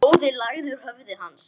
Blóðið lagaði úr höfði hans.